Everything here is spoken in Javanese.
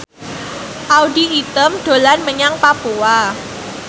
Audy Item dolan menyang Papua